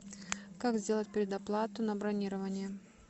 как сделать предоплату на бронирование